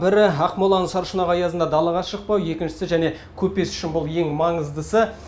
бірі ақмоланың саршұнақ аязында далаға шықпау екіншісі және көпес үшін бұл ең маңыздысы